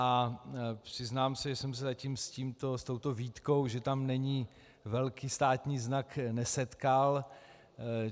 A přiznám se, že jsem se zatím s touto výtkou, že tam není velký státní znak, nesetkal.